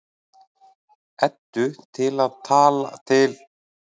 Eddu til um alla hluti og veit allt betur en hún.